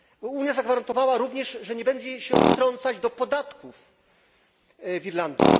Unia zagwarantowała również, że nie będzie się wtrącać do podatków w Irlandii.